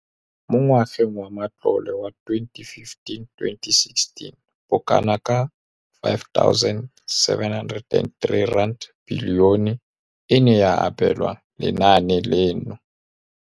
Mo ngwageng wa matlole wa 2015,16, bokanaka R5 703 bilione e ne ya abelwa lenaane leno.